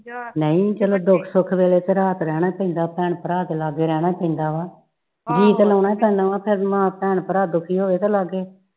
ਨਹੀਂ ਚਲੋ ਦੁੱਖ ਸੁੱਖ ਵੇਲੇ ਤੇ ਰਾਤ ਰਹਿਣਾ ਚਾਹੀਦਾ ਭੈਣ ਭਰਾ ਦੇ ਲਾਗੇ ਰਹਿਣਾ ਚਾਹੀਦਾ ਵਾ ਜੀਅ ਤੇ ਲਾਉਣਾ ਪੈਣਾ ਫਿਰ ਮਾਂ ਭੈਣ ਭਰਾ ਦੁਖੀ ਹੋਵੇ ਤੇ ਲਾਗੇ